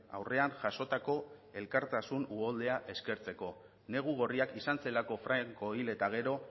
aurrean jasotako elkartasun uholdea eskertzeko negu gorriak izan zelako franco hil eta gero